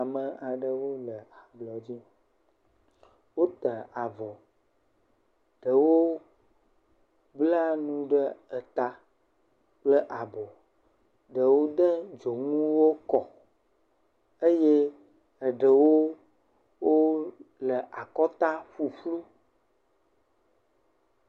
Ame aɖewo le ablɔ dzi. Wota avɔ. Ɖewo le nu ɖe eta kple abo. Ɖewo de dzonuwo kɔ eye eɖewo wò wɔ ɖe akɔta ƒuƒlu.